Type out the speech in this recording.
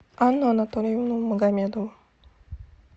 анну анатольевну магомедову